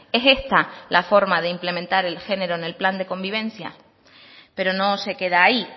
es esta la forma de implementar el género en el plan de convivencia pero no se queda ahí